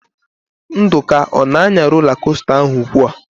Nduka ọ na-anya rola kosta ahụ ugbu a?